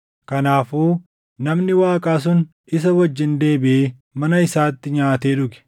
Kanaafuu namni Waaqaa sun isa wajjin deebiʼee mana isaatti nyaatee dhuge.